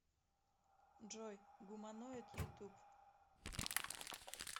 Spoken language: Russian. джой гуманоид ютуб